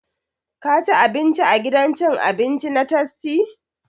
Ka ci abinci a gidan cin abinci na tastia!